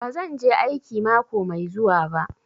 Bazan je aiki mako mai zuwa ba.